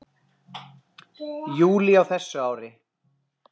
júlí á þessu ári.